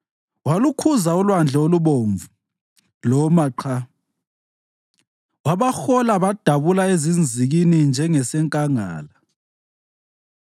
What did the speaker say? Walukhuza uLwandle oluBomvu, loma qha; wabahola badabula ezinzikini njengasenkangala.